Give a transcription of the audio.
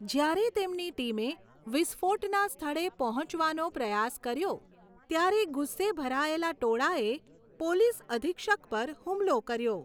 જ્યારે તેમની ટીમે વિસ્ફોટના સ્થળે પહોંચવાનો પ્રયાસ કર્યો ત્યારે ગુસ્સે ભરાયેલા ટોળાએ પોલીસ અધિક્ષક પર હુમલો કર્યો.